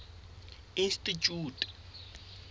institjhute